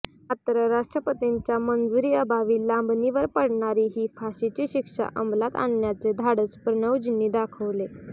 मात्र राष्ट्रपतींच्या मंजुरीअभावी लांबणीवर पडणारी ही फाशीची शिक्षा अमलात आणण्याचे धाडस प्रणवजींनी दाखवले